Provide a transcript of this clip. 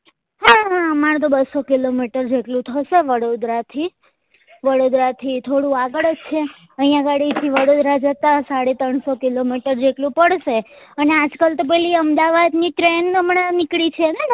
હા હા અમાર તો બસ્સો કિલો મીટર જેટલું થશે વડોદરા થી વડોદરા થી થોડું આગળ જ છે અહિયાં ગાડી થી વડોદરા જતા સાડા ત્રણસો કિલો મીટર જેટલું પડશે અને આજ કાલ તો પેલી અમદાવાદ ની train હમણાં નીકળી છે ને